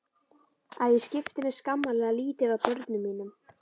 Að ég skipti mér skammarlega lítið af börnum mínum.